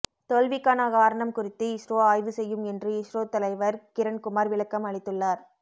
தோல்விக்கான காரணம் குறித்து இஸ்ரோ ஆய்வு செய்யும் என்று இஸ்ரோ தலைவர் கிரண்குமார் விளக்கம் அளித்துள்ளார்